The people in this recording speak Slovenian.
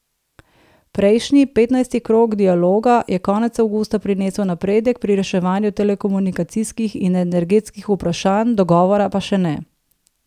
Prejšnji, petnajsti krog dialoga, je konec avgusta prinesel napredek pri reševanju telekomunikacijskih in energetskih vprašanj, dogovora pa še ne.